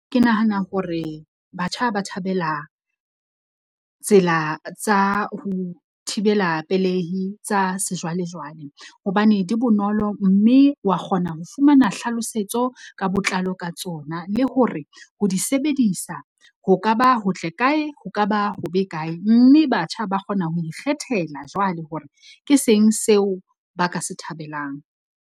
Ke nahana hore batjha ba thabela tsela tsa ho thibela pelehi tsa sejwalejwale. Hobane di bonolo mme wa kgona ho fumana hlalosetso ka botlalo ka tsona. Le hore ho di sebedisa ho ka ba ho tle kae, ho ka ba ho be kae. Mme batjha ba kgona ho ikgethela jwale hore ke seng seo ba ka se thabelang.